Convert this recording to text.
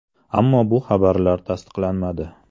Ammo bu xabarlar tasdiqlanmadi.